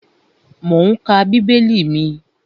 Mò ún ka bíbélì mi